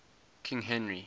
king henry